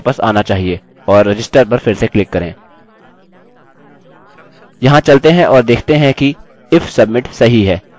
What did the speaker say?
यहाँ चलते हैं और देखते हैं कि if submit सही है इस कंडिशन को हटा दें और रिफ्रेश करें